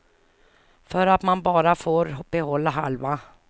För att man bara får behålla halva.